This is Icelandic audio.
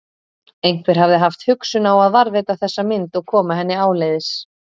Einhver hafði haft hugsun á að varðveita þessa mynd og koma henni áleiðis.